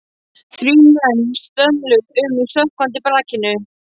Þrír menn svömluðu um í sökkvandi brakinu.